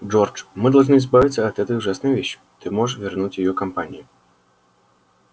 джордж мы должны избавиться от этой ужасной вещи ты можешь вернуть её компании